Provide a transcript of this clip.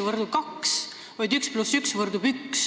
ei võrdu 2, vaid 1 + 1 võrdub 1.